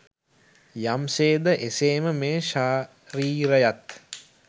යම් සේද එසේම මේ ශරීරයත්